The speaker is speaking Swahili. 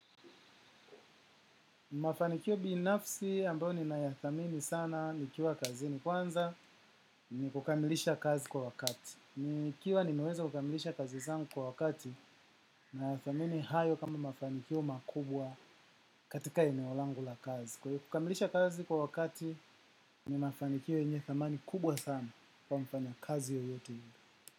Mafanikio binafsi ambayo ninayadhamini sana nikiwa kazi ni kwanza ni kukamilisha kazi kwa wakati. Nikiwa nimeweza kukamilisha kazi zangu kwa wakati nayadhamini hayo kama mafanikio makubwa katika eneo langu la kazi. Kukamilisha kazi kwa wakati ni mafanikio yenye dhamani kubwa sana kwa mfanya kazi yoyote yule.